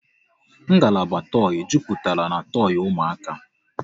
Ngalaba toi jupụtara n'toi ụmụaka